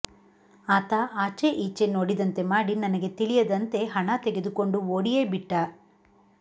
ಆತ ಆಚೆ ಈಚೆ ನೋಡಿದಂತೆ ಮಾಡಿ ನನಗೆ ತಿಳಿಯದಂತೆ ಹಣ ತೆಗೆದುಕೊಂಡು ಓಡಿಯೇ ಬಿಟ್ಟ